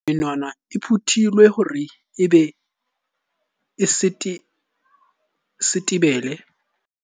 menwana e phuthilwe hore e be setebele